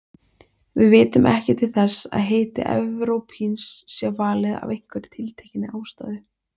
Við vitum ekki til þess að heiti evrópíns sé valið af einhverri tiltekinni ástæðu.